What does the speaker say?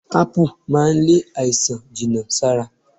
Ápù máa ń lé àìsàn jìnà sára